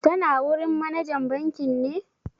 Tana wurin manajan bankin ne?